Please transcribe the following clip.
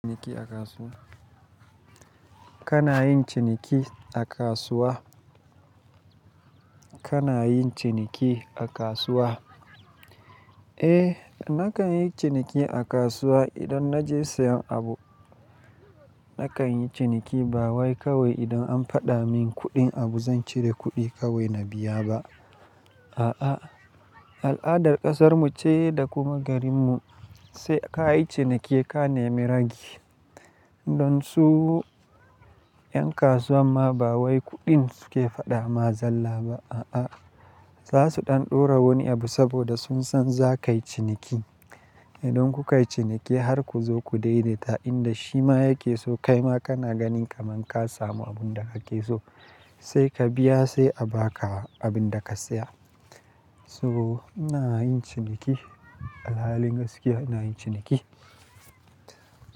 Kana yin ciniki a kasuwa? Kana yin ciniki a kasuwa? Eh nakan yi ciniki a kasuwa idan na je sayan abu. Nakan yi ciniki ba wai kawai idan an faɗa min kuɗin abu zan cire kuɗi kawai na biya ba. A'a, al'adar ƙasarmu ce da kuma garin mu, sai ka yi ciniki ka nemi ragi. Don su 'yan kasuwan ma ba wai kuɗin su ke faɗa ma zalla ba, a'a. Za su ɗan ɗora wani abu saboda sun san za kai ciniki. Idan kuka yi ciniki har ku zo ku dai-daita ta, inda shi ma yake so, kai ma kana ganin kamar ka samu abun da ke so, sai ka biya sai a ba ka abin da ka siya. So ina yin ciniki, alhalin gaskiya ina yin ciniki.